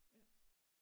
Ja